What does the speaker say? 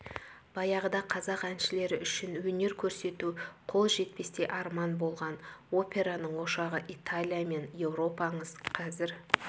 баяғыда қазақ әншілері үшін өнер көрсету қол жетпестей арман болған операның ошағы италия мен еуропаңыз қазір